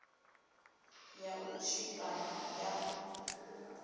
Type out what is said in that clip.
ya u tshipa na ya